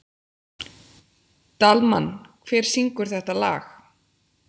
Dalmann, hver syngur þetta lag?